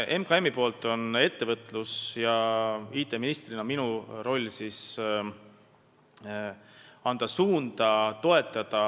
MKM-i ja minu roll ettevõtlus- ja IT-ministrina on näidata suunda ja toetada.